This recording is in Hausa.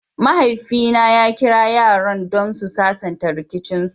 mahaifi na ya Kira yaran don su sasanta rikicin su.